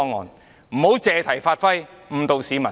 議員不要借題發揮，誤導市民。